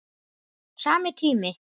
Sami tími.